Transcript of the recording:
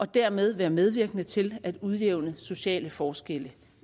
dermed være medvirkende til at udjævne sociale forskelle